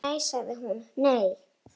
Ó, nei sagði hún, nei.